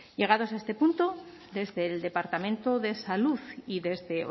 llegados a este punto desde el departamento de salud y desde